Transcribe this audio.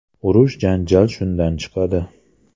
Urush-janjal shundan chiqadi.